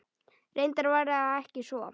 Reyndar var það ekki svo.